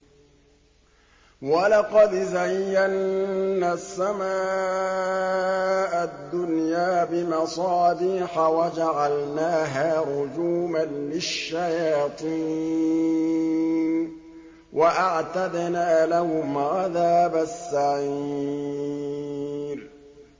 وَلَقَدْ زَيَّنَّا السَّمَاءَ الدُّنْيَا بِمَصَابِيحَ وَجَعَلْنَاهَا رُجُومًا لِّلشَّيَاطِينِ ۖ وَأَعْتَدْنَا لَهُمْ عَذَابَ السَّعِيرِ